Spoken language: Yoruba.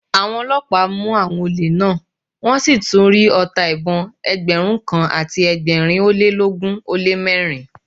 Àwọn ọlọ́pàá mú àwọn olè náà, wọn sì tún rí ọta ìbọn Ẹgbẹ̀rún kan àti ẹgbẹ̀rin ólélógún ó lé mẹ́rin.